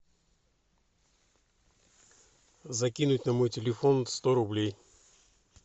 закинуть на мой телефон сто рублей